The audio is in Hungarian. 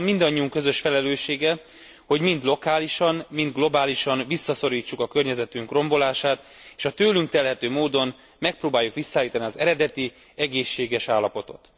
Azonban mindannyiunk közös felelőssége, hogy mind lokálisan, mind globálisan visszaszorítsuk a környezetünk rombolását, és a tőlünk telhető módon megpróbáljuk visszaállítani az eredeti, egészséges állapotot.